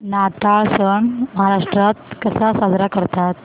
नाताळ सण महाराष्ट्रात कसा साजरा करतात